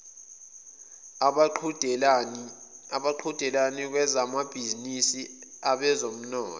abaqhudelani kwezamabhizinisi abezomthetho